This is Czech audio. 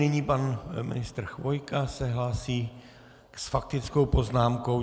Nyní pan ministr Chvojka se hlásí s faktickou poznámkou.